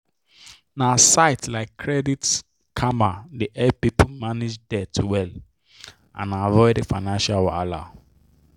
na sites like credit karma dey help people manage debt well and avoid financial wahala.